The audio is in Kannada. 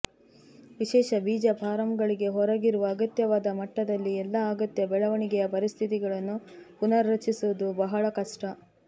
ವಿಶೇಷ ಬೀಜ ಫಾರಂಗಳಿಗೆ ಹೊರಗಿರುವ ಅಗತ್ಯವಾದ ಮಟ್ಟದಲ್ಲಿ ಎಲ್ಲಾ ಅಗತ್ಯ ಬೆಳವಣಿಗೆಯ ಪರಿಸ್ಥಿತಿಗಳನ್ನು ಪುನಃ ರಚಿಸುವುದು ಬಹಳ ಕಷ್ಟ